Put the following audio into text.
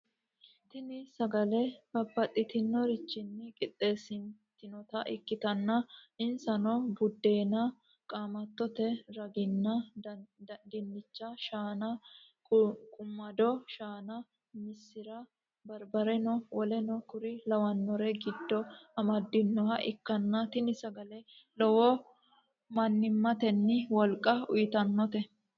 Tini sagale babatitinorrichinni qixesanitinota ikitana insano; buddena, qaamattote raganni dinicha, shanna, quniqqumado shanna, missira, baribareno woleno kurri lawannore gidosi amadhinoha ikana tini sagaleno lowo manimateno woliqqa uyitanote.